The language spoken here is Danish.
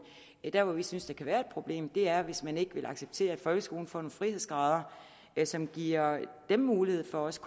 der hvor vi synes der kan være et problem er hvis man ikke vil acceptere at folkeskolen får nogle frihedsgrader som giver dem mulighed for også